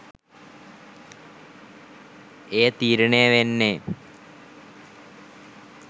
එය තීරණය වෙන්නේ,